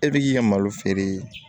E bi k'i ka malo feere